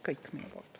Kõik!